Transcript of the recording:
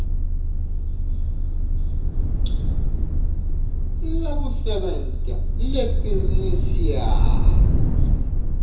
lekusebenta lebhizinisi yakho